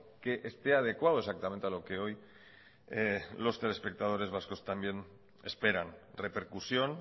que esté adecuado exactamente a lo que hoy los telespectadores vascos también esperan repercusión